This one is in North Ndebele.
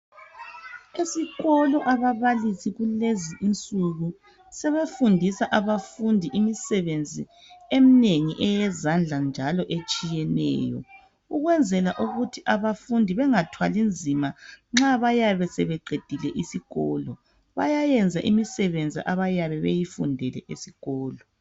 Esikolo ababalisi kulenzinsuku sebefundisa abafundi imisebenzi eminengi eyezandla njalo etshiyeneyo ukukwenzela ukuthi abafundi bengathwalinzima nxa sebeqedile isikolo. Bayayenza imisebenzi abayabe beyifundele esikolo.